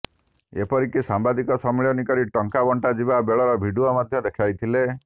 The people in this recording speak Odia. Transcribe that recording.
ଏପରିକି ସାମ୍ବାଦିକ ସମ୍ମିଳନୀ କରି ଟଙ୍କା ବଣ୍ଟା ଯିବା ବେଳର ଭିଡ଼ିଓ ମଧ୍ୟ ଦେଖାଇଥିଲେ